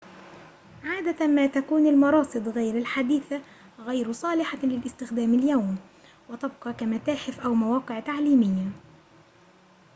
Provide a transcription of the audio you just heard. عادة ما تكون المراصد غير الحديثة غير صالحة للاستخدام اليوم وتبقى كمتاحف أو مواقع تعليمية